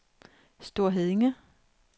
Store Heddinge